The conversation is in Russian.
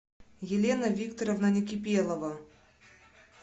елена викторовна некипелова